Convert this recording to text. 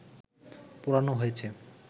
পোড়ানো হয়েছে